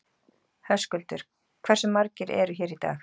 Höskuldur: Hversu margir eru hér í dag?